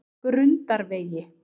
Grundarvegi